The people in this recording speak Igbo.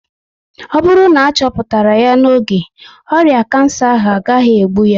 Ọ bụrụ na achoputara ya n'oge, ọrịa kansa ahụ agaghị egbu ya